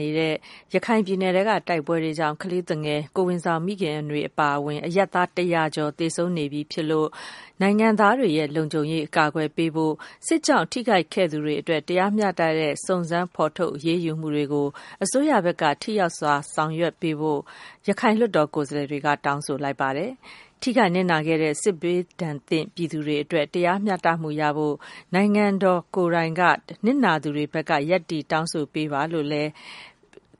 နေဆဲ ရခိုင်ပြည်နယ်က နှစ်ဖက်တိုက်ပွဲတွေထဲ ကလေးသူငယ် ကိုယ်ဝန်ဆောင်မိခင် အပါအဝင် အရပ်သား ၁၀၀ ကျော် သေဆုံးနေရပြီဖြစ်လို့ နိုင်ငံသားတို့ရဲ့ လုံခြုံမှုကို အကာအကွယ်ပေးဖို့၊ စစ်ဘေးမှာ ထိခိုက်နစ်နာခဲ့ရသူတွေအတွက် တရားမျှတမှုရှိတဲ့ စုံစမ်းဖော်ထုတ် အရေးယူမှုတွေ အစိုးရဘက်က ထိရောက်စွာ ဆောင်ရွက်ပေးဖို့ ရခိုင်လွှတ်တော်ကိုယ်စားလှယ်တွေက တောင်းဆိုလိုက်ပါတယ်။ ထိခိုက်နစ်နာခဲ့ရတဲ့ စစ်ဒဏ်သင့် ပြည်သူတွေအတွက် တရားမျှတမှုရဖို့ နိုင်ငံတော်ကိုယ်တိုင်က နစ်နာသူတွေဘက်က ရပ်တည်တောင်းဆိုပေးပါလို့လည်း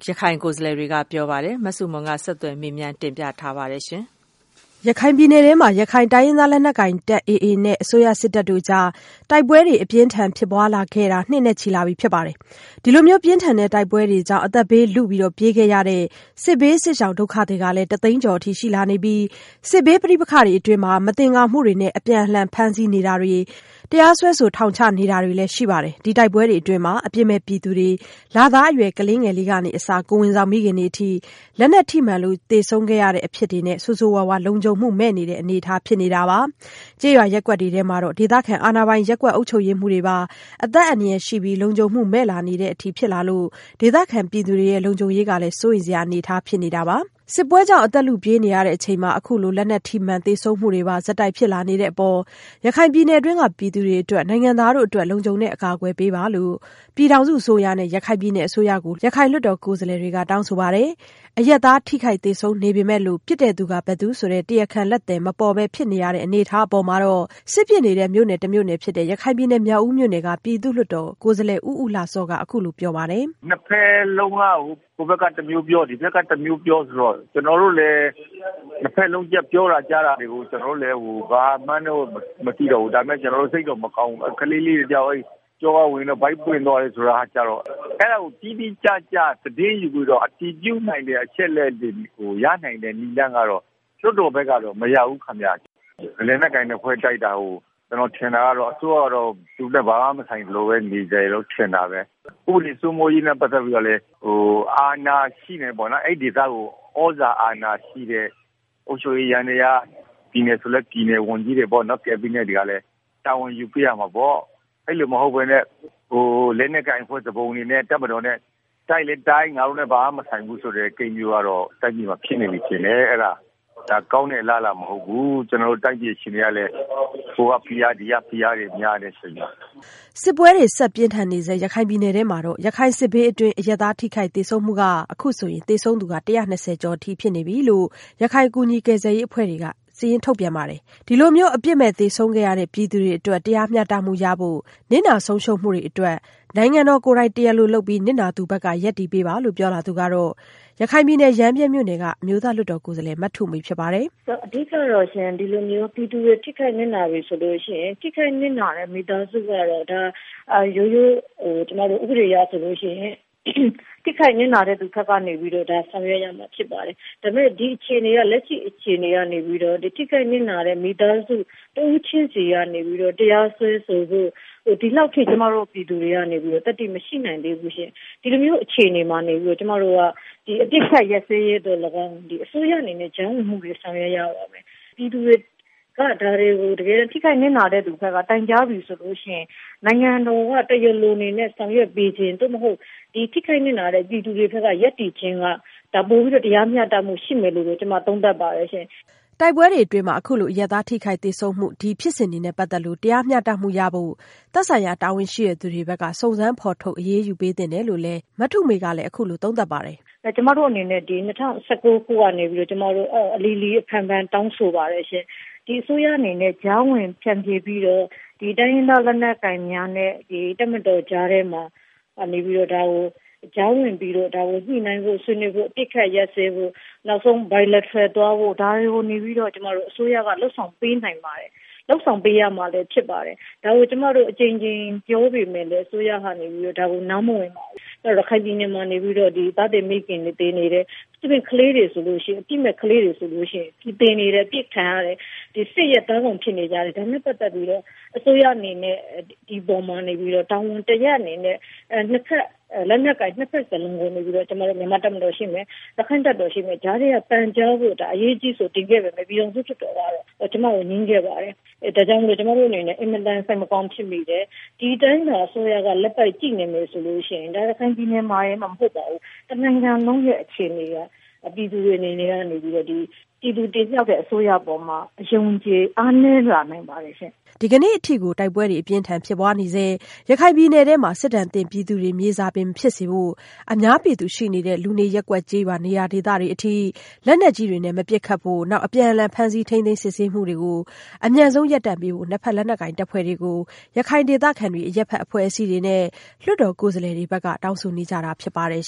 ရခိုင်လွှတ်တော်ကိုယ်စားလှယ်က ပြောပါတယ်။ အပြည့်အစုံကို မဆုမွန် ဆက်သွယ်မေးမြန်း တင်ပြထားပါတယ်။ ရခိုင်ပြည်နယ်ထဲမှာ ရခိုင်တိုင်းရင်းသားလက်နက်ကိုင်တပ် AA နဲ့ အစိုးရစစ်တပ်တို့ကြား တိုက်ပွဲတွေ အပြင်းအထန် ဖြစ်ပွားလာခဲ့တာ နှစ်နဲ့ချီလာပြီ ဖြစ်ပါတယ်။ ဒီလိုမျိုး ပြင်းထန်တဲ့ တိုက်ပွဲတွေကြောင့် အသက်ဘေးလု ပြေးခဲ့ရတဲ့ စစ်ဘေးစစ်ရှောင် ဒုက္ခသည်ကလည်း တသိန်းကျော်အထိ ရှိလာနေပြီး စစ်ဘေးပဋိပက္ခအတွင်း မသင်္ကာမှုတွေနဲ့ အပြန်အလှန် ဖမ်းဆီးနေတာတွေ၊ တရားစွဲဆို ထောင်ချနေတာတွေ ရှိပါတယ်။ ဒီတိုက်ပွဲတွေအတွင်းမှာ အပြစ်မဲ့ပြည်သူတွေ လသားအရွယ် ကလေးငယ်လေးကအစ ကိုယ်ဝန်ဆောင်မိခင်တွေအထိ လက်နက်ထိမှန်လို့ သေဆုံးခဲ့ရတဲ့အထိလည်း ဆိုးဆိုးရွားရွား လုံခြုံမှုမဲ့နေတဲ့ အနေအထား ဖြစ်နေပါတယ်။ ကျေးရွာရပ်ကွက်တွေထဲ ဒေသခံအာဏာပိုင် ရပ်ကွက်အုပ်ချုပ်ရေးမှူးတွေပါ အသက်အန္တရာယ်ရှိပြီး လုံခြုံမှုမဲ့လာနေတဲ့အထိ ဖြစ်လာလို့ ဒေသခံပြည်သူတွေရဲ့ လုံခြုံရေးကလည်း စိုးရိမ်စရာ အနေအထား ဖြစ်နေတာပါ။ စစ်ပွဲကြောင့် အသက်လုပြေးနေရချိန် အခုလို လက်နက်ထိမှန် သေဆုံးမှုတွေပါ ဆက်တိုက်ဖြစ်လာနေတဲ့အပေါ် ရခိုင်ပြည်နယ်တွင်းက ပြည်သူတွေအတွက် နိုင်ငံသားတို့အတွက် လုံခြုံတဲ့အကာအကွယ် ပေးပါလို့ ပြည်ထောင်စုအစိုးရနဲ့ ပြည်နယ်အစိုးရကို ရခိုင်လွှတ်တော်ကိုယ်စားလှယ်တွေက တောင်းဆိုပါတယ်။ အရပ်သား ထိခိုက်သေဆုံးနေပေမယ့်လို့ ပစ်သူ ဘယ်သူဆိုတဲ့ တရားခံလက်သည် မပေါ်ဘဲ ဖြစ်နေရတဲ့ အနေအထားအပေါ်မှာ စစ်ဖြစ်နေတဲ့ မြို့နယ်တမြို့နယ်ဖြစ်တဲ့ ရခိုင်ပြည်နယ် မြောက်ဦးမြို့နယ်က ပြည်သူ့လွှတ်တော်ကိုယ်စားလှယ် ဦးဦးလှစောက အခုလိုပြောပါတယ်။ “နှစ်ဖက်လုံးက ဟိုဘက်က တမျိုးပြော၊ ဒီဘက်က တမျိုးပြောဆိုတော့ ကျနော်တို့လည်း နှစ်ဖက်လုံး ပြောတာကြားတာတွေကို ဘာမှန်းမသိတော့ဘူး။ ဒါပေမယ့် ကျနော်တို့ စိတ်တော့မကောင်းဘူး။ ကလေးလေးတယောက် ကျောကဝင်ပြီး ဗိုက်ပွင့်သွားတယ် ဆိုတာကျတော့၊ အဲဒါကို တိတိကျကျ သတင်းယူပြီးတော့ အတည်ပြုနိုင်တဲ့ အချက်အလက်တွေ ရနိုင်တဲ့ နည်းလမ်းကတော့ လွှတ်တော်ဘက်ကတော့ မရဘူး။ လက်နက်ကိုင်နှစ်ဖွဲ့ တိုက်တာကို ကျနော်ထင်တာတော့ အစိုးရကတော့ သူနဲ့ဘာမှမဆိုင်သလို နေတယ်လို့ ထင်တာပဲ။ ဥပဒေစိုးမိုးရေးနဲ့ ပတ်သက်ပြီးတော့လည်း အဲဒီဒေသကို သြဇာအာဏာရှိတဲ့ အုပ်ချုပ်ရေးယန္တရား၊ ပြည်နယ်ဆိုလည်း ပြည်နယ်ဝန်ကြီးတွေပေါ့၊ ကက်ဘိနက်တွေကလည်း တာဝန်ယူပေးရမှာပေါ့။ အဲဒီလိုမဟုတ်ဘဲ လက်နက်ကိုင်အဖွဲ့ သူပုန်တွေနဲ့ တပ်မတော်နဲ့ တိုက်ရင်လည်းတိုက်၊ ငါတို့နဲ့ ဘာမှမဆိုင်ဘူးဆိုတဲ့ ကိန်းမျိုးကတော့ တိုင်းပြည်မှာ ဖြစ်နေပြီထင်တယ်။ အဲဒါ ကောင်းတဲ့အလားအလာ မဟုတ်ဘူး။ ကျနော်တို့တိုင်းပြည် အခြေအနေကလည်း ဟိုကဖိအား ဒီကဖိအားတွေ များတဲ့အချိန်မှာ။” တိုက်ပွဲတွေ ဆက်ပြင်းထန်နေဆဲ ရခိုင်ပြည်နယ်ထဲ ရခိုင်စစ်ဘေးတွင်း အရပ်သား ထိခိုက်သေဆုံးခဲ့ရမှုက အခုဆိုရင် သေဆုံးသူ ၁၂၀ ကျော်အထိ ဖြစ်နေပြီလို့ ရခိုင်ကူညီကယ်ဆယ်ရေး အဖွဲ့တွေက ပြောပါတယ်။ ဒီလို အပြစ်မဲ့ သေဆုံးခဲ့ရတဲ့ ပြည်သူတွေအတွက် တရားမျှတမှုရဖို့ နစ်နာဆုံးရှုံးမှုတွေအတွက် နိုင်ငံတော်ကိုယ်တိုင် တရားလိုလုပ်ပြီး နစ်နာသူဘက်က ရပ်တည်ပေးပါလို့ ပြောလာသူကတော့ ရခိုင်ပြည်နယ် ရမ်းဗြဲမြို့နယ်က အမျိုးသားလွှတ်တော်ကိုယ်စားလှယ် မထုမေ ဖြစ်ပါတယ်။ “အဓိကတော့ ဒီလိုမျိုး ပြည်သူတွေ ထိခိုက်နစ်နာပြီဆိုရင် ထိခိုက်နစ်နာတဲ့ မိသားစုကတော့ ရိုးရိုး ဥပဒေအရဆိုရင် ထိခိုက်နစ်နာတဲ့သူဘက်ကနေပြီးတော့ ဆောင်ရွက်ရမှာ ဖြစ်ပါတယ်။ ဒါပေမယ့် လက်ရှိအခြေအနေက ထိခိုက်နစ်နာတဲ့ မိသားစု တဦးချင်းဆီကနေ တရားစွဲဆိုဖို့ ဒီလောက်အထိ ကျမတို့ပြည်သူတွေက သတ္တိမရှိနိုင်သေးဘူး။ ဒီလိုမျိုး အခြေအနေမှာ ကျမတို့က အပစ်အခတ်ရပ်စဲရေးအတွက် လည်းကောင်း အစိုးရအနေနဲ့ ကြားဝင်မှုတွေ ဆောင်ရွက်ရပါမယ်။ ပြည်သူတွေက ဒါတွေကို တကယ်ထိခိုက်နစ်နာတဲ့ သူဘက်က တိုင်ကြားပြီဆိုရင် နိုင်ငံတော်က တရားလိုအနေနဲ့ ဆောင်ရွက်ပေးခြင်း၊ သို့မဟုတ် ထိခိုက်နစ်နာတဲ့ ပြည်သူတွေဘက်က ရပ်တည်ခြင်းက ပိုပြီးတော့ တရားမျှတမှုရှိမယ်လို့ ကျမသုံးသပ်ပါတယ်။” တိုက်ပွဲတွေအတွင်း အခုလို အရပ်သားထိခိုက်သေဆုံးမှု ဒီဖြစ်စဉ်တွေနဲ့ ပတ်သက်လို့ တရားမျှတမှုရဖို့ သက်ဆိုင်ရာ တာဝန်ရှိသူတွေဘက်က စုံစမ်းဖော်ထုတ် အရေးယူပေးသင့်တယ်လို့လည်း ရခိုင်လွှတ်တော်ကိုယ်စားလှယ် မထုမေက အခုလို သုံးသပ်ပါတယ်။ “ကျမတို့အနေနဲ့ ၂၀၁၉ ခုကနေပြီးတော့ အလီလီအဖန်ဖန် တောင်းဆိုပါတယ်။ အစိုးရအနေနဲ့ ကြားဝင် ဖျန်ဖြေပြီးတော့ တိုင်းရင်းသား လက်နက်ကိုင်များနဲ့ တပ်မတော်ကြား ဝင်ပြီးတော့ ဒါကို ညှိနှိုင်းဖို့၊ ဆွေးနွေးဖို့၊ အပစ်အခတ် ရပ်စဲဖို့၊ နောက်ဆုံး Bilateral သွားဖို့၊ ဒါတွေကို အစိုးရက လုပ်ဆောင်ပေးနိုင်ပါတယ်။ လုပ်ဆောင်ပေးရမှာလည်း ဖြစ်ပါတယ်။ ဒါကို ကျမတို့ အကြိမ်ကြိမ်ပြောပေမယ့် အစိုးရက နားမဝင်ပါဘူး။ ရခိုင်ပြည်နယ်မှာ နေပြီးတော့ သားသည်မိခင်တွေ သေနေတယ်၊ အပြစ်မဲ့ကလေးတွေ သေနေတယ်၊ အပစ်ခံရတယ်၊ စစ်ရဲ့သားကောင် ဖြစ်နေကြတယ်။ ဒါနဲ့ပတ်သက်ပြီး အစိုးရအနေနဲ့ ဒီအပေါ်မှာ တာဝန်တရပ်အနေနဲ့ လက်နက်ကိုင် နှစ်ဖက်စလုံးကို မြန်မာ့တပ်မတော်ရှိမယ်၊ ရခိုင့်တပ်တော်ရှိမယ်၊ ကြားထဲက ပန်ကြားဖို့ အရေးကြီးအဆို တင်ခဲ့ပေမယ့် ပြည်ထောင်စုလွှတ်တော်က ကျမကို ငြင်းခဲ့ပါတယ်။ ဒါကြောင့်မို့ ကျမတို့အနေနဲ့ အင်မတန် စိတ်မကောင်းဖြစ်မိတယ်။ ဒီတိုင်းသာ အစိုးရက လက်ပိုက်ကြည့်နေမယ်ဆိုရင် ရခိုင်ပြည်နယ်မှာတင် မဟုတ်ပါဘူး၊ တနိုင်လုံးရဲ့ အခြေအနေက ပြည်သူတွေအနေနဲ့ ပြည်သူတင်မြှောက်တဲ့ အစိုးရအပေါ်မှာ အယုံအကြည် အားနည်းလာနိုင်ပါတယ်။” ဒီကနေ့အထိကို တိုက်ပွဲတွေ အပြင်းအထန် ဖြစ်ပွားနေဆဲ ရခိုင်ပြည်နယ်ထဲ စစ်ဒဏ်သင့်ပြည်သူတွေ မြေစာပင်မဖြစ်စေဖို့ အများပြည်သူရှိနေတဲ့ လူနေရပ်ကွက်ကျေးရွာ နေရာဒေသတွေကို လက်နက်ကြီးတွေနဲ့ မပစ်ခတ်ဖို့ အပြန်အလှန် ဖမ်းဆီးထိန်းသိမ်း စစ်ဆေးနေမှုတွေ အမြန်ဆုံးရပ်တန့်ပေးဖို့ နှစ်ဖက် လက်နက်ကိုင်တပ်ဖွဲ့တွေကို ရခိုင်ဒေသခံတွေ၊ အရပ်ဘက်အဖွဲ့အစည်းတွေနဲ့ လွှတ်တော်ကိုယ်စားလှယ်တွေဘက်က တောင်းဆိုနေကြတာ ဖြစ်ပါတယ်